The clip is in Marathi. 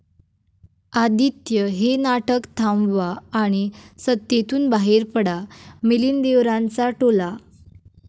आदित्य, हे नाटक थांबवा आणि सत्तेतून बाहेर पडा, मिलिंद देवरांचा टोला